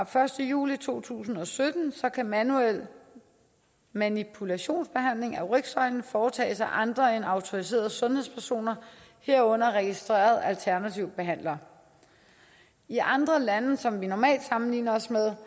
første juli to tusind og sytten kan manuel manipulationsbehandling af rygsøjlen foretages af andre end autoriserede sundhedspersoner herunder registrerede alternative behandlere i andre lande som vi normalt sammenligner os med